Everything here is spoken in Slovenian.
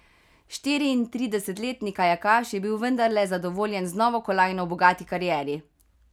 Štiriintridesetletni kajakaš je bil vendarle zadovoljen z novo kolajno v bogati karieri.